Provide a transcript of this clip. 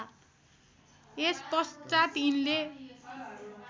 यस पश्चात यिनले